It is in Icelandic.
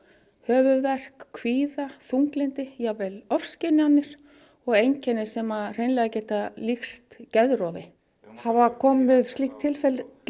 höfuðverk kvíða þunglyndi jafnvel ofskynjanir og einkenni sem hreinlega geta líkst geðrofi hafa komið upp slík tilfelli